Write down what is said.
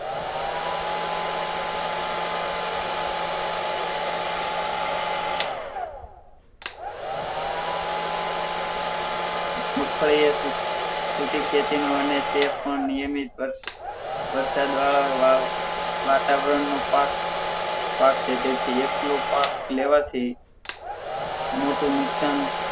મગફળી સૂકી ખેતી અને તે પણ નિયમિત વરસ વરસાદ વાળા વાતાવરણ નો પાક પાક છે તેથી એકલો પાક લેવાથી મોટું નુકસાન